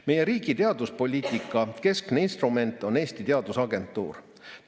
Meie riigi teaduspoliitika keskne instrument on Eesti Teadusagentuur.